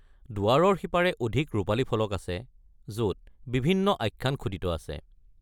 দুৱাৰৰ সিপাৰে অধিক ৰূপালী ফলক আছে য'ত বিভিন্ন আখ্যান খোদিত আছে।